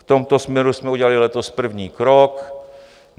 V tomto směru jsme udělali letos první krok.